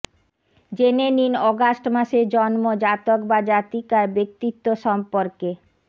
জেনে নিন অগাষ্ট মাসে জন্ম জাতক বা জাতিকার ব্যক্তিত্ব সম্পর্কে